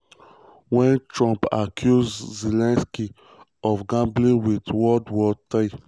wen trump accuse zelensky of "gambling with world um war war three".